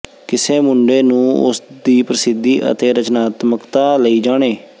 ਕਿਸੇ ਮੁੰਡੇ ਨੂੰ ਉਸ ਦੀ ਪ੍ਰਸਿੱਧੀ ਅਤੇ ਰਚਨਾਤਮਕਤਾ ਲਈ ਜਾਣੇ